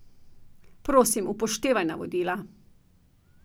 Prosim, upoštevaj navodila.